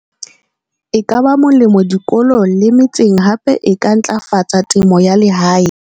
E ka ba molemo dikolong le metseng hape e ka ntlafatsa temo ya lehae.